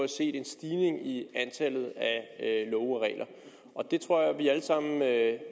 set en stigning i antallet af love og regler og det tror jeg vi alle sammen kan